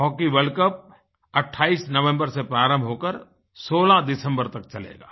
Hockey world cup 28 नवम्बरसे प्रारंभ हो कर 16 दिसम्बरतक चलेगा